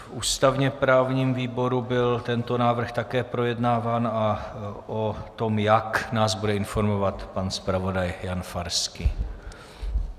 V ústavně-právním výboru byl tento návrh také projednáván a o tom jak, nás bude informovat pan zpravodaj Jan Farský.